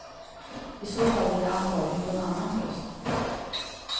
I så fall blir det antagligen på en annan post.